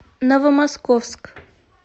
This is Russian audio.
новомосковск